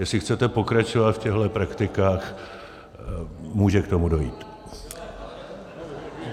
Jestli chcete pokračovat v těchto praktikách, může k tomu dojít.